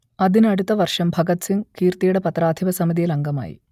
അതിനടുത്ത വർഷം ഭഗത് സിംഗ് കീർത്തിയുടെ പത്രാധിപ സമിതിയിൽ അംഗമായി